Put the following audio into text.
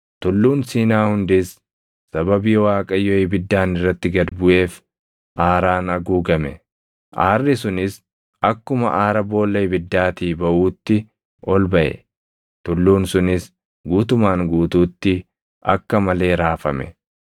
Tulluun Siinaa hundis sababii Waaqayyo ibiddaan irratti gad buʼeef aaraan haguugame. Aarri sunis akkuma aara boolla ibiddaatii baʼuutti ol baʼe; tulluun sunis guutumaan guutuutti akka malee raafame;